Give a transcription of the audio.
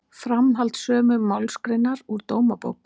Framhald sömu málsgreinar úr Dómabók